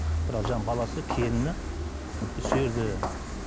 бірақ жаңағы баласы келіні сол жерде